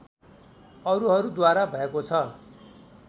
अरूहरूद्वारा भएको छ